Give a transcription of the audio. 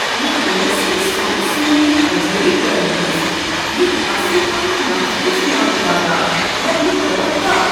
مےٚ اوس نہٕ سومتھسونین عجٲیب گرن منٛز یتھۍ اصٕل پٲٹھۍ محفوض نوادرات لبنک توقع۔